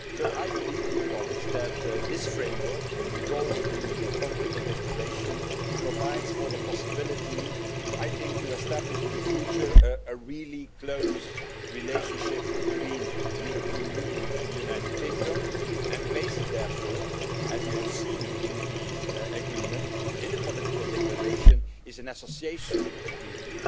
I believe that this framework withdrawal agreement and political declaration provides for the possibility to establish in the future a really close relationship between the European Union and the United Kingdom and the basis, therefore, as you have seen in the agreement, in the political declaration, is an association agreement,